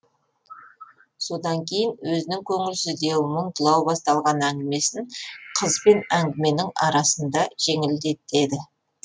содан кейін өзінің көңілсіздеу мұңдылау басталған әңгімесін қызбен әңгіменің арасында жеңілдетеді